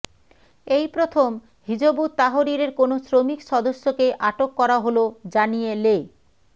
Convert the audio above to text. এই প্রথম হিযবুত তাহরীরের কোনো শ্রমিক সদস্যকে আটক করা হলো জানিয়ে লে